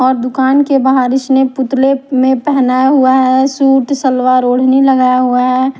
और दुकान के बाहर इसने पुतले में पेहनाया हुआ है सूट सलवार ओढ़नी लगाया हुआ है।